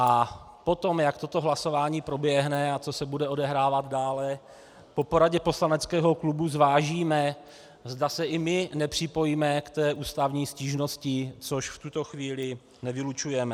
A potom, jak toto hlasování proběhne a co se bude odehrávat dále, po poradě poslaneckého klubu zvážíme, zda se i my nepřipojíme k té ústavní stížnosti, což v tuto chvíli nevylučujeme.